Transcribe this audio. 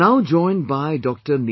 We now joined by Dr